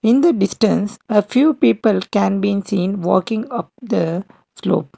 in the distance a few people can been seen walking of the slope.